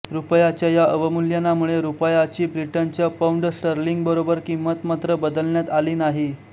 रुपयाच्या या अवमूल्यनामुळे रुपयाची ब्रिटनच्या पौंडस्टर्लिंगबरोबर किंमत मात्र बदलण्यात आली नाही